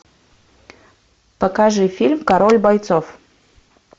покажи фильм король бойцов